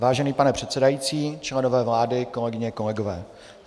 Vážený pane předsedající, členové vlády, kolegyně, kolegové.